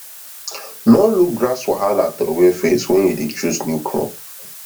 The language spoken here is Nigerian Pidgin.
nor look grass wahala throway face wen you dey chose new crop